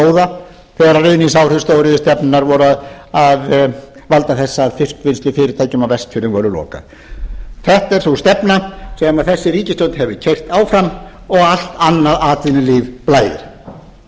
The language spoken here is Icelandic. þegar ruðningsáhrif stóriðjustefnunnar voru að valda þess að fiskvinnslufyrirtækjum á vestfjörðum var lokað þetta er sú stefna sem þessi ríkisstjórn hefur keyrt áfram og allt annað atvinnulíf blæðir